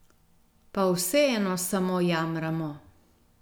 Pa vseeno samo jamramo ...